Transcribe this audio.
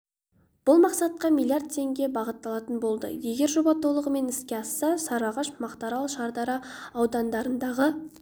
бұл мақсатқа млрд теңге бағытталатын болады егер жоба толығымен іске асса сарыағаш мақтаарал шардара аудандарындағы